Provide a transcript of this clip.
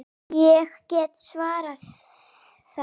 Ég get svarið það!